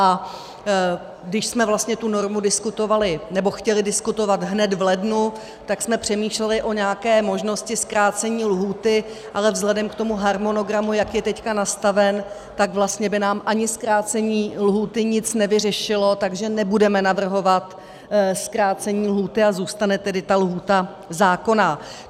A když jsme vlastně tu normu diskutovali, nebo chtěli diskutovat hned v lednu, tak jsme přemýšleli o nějaké možnosti zkrácení lhůty, ale vzhledem k tomu harmonogramu, jak je teď nastaven, tak vlastně by nám ani zkrácení lhůty nic nevyřešilo, takže nebudeme navrhovat zkrácení lhůty a zůstane tedy ta lhůta zákonná.